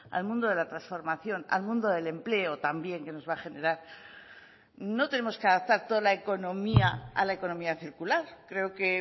al mundo de la transformación al mundo del empleo también que nos va a generar no tenemos que adaptar toda la economía a la economía circular creo que